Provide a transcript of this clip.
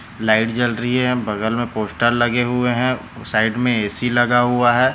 Light जल रही है बगल में पोस्टर लगे हुए है साइड में एसी लगा हुआ हैं।